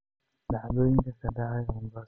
dhacdooyinka ka dhacaya mombasa